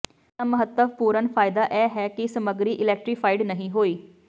ਇਸ ਦਾ ਮਹੱਤਵਪੂਰਨ ਫਾਇਦਾ ਇਹ ਹੈ ਕਿ ਸਮੱਗਰੀ ਇਲੈਕਟ੍ਰੀਫਾਈਡ ਨਹੀਂ ਹੋਈ